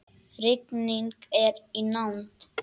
Rigning er í nánd.